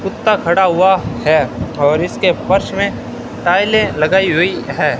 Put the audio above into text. कुत्ता खड़ा हुआ है और इसके फर्श में टाइलें लगाई हुई हैं।